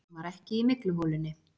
Hún var ekki í mygluholunni.